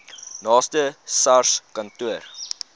naaste sars kantoor